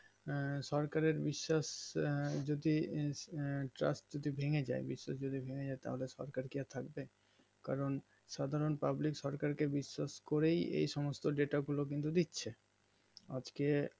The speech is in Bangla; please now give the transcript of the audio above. আঃ সরকারের বিশ্বাস যদি চট করে ভেনেযায় বিশ্বাস যদিবা ভেনেযাই তাহলে সরকার কি আর থাকবে কারণ সাধারণ pubilc সরকার কে বিশ্বাস করেই এই সমস্ত data গুলো কিন্তু দিচ্ছে আজকে